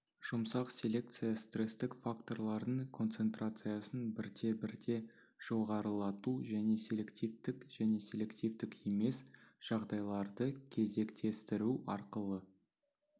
жұмсақ селекция стресстік факторлардың концентрациясын бірте-бірте жоғарылату және селективтік және селективтік емес жағдайларды кезектестіру арқылы